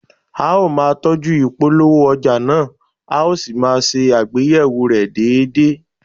A ó máa tọ́jú ìpolówó ọjà náà, a ó sì máa ṣe àgbéyẹ̀wò rẹ̀ déédéé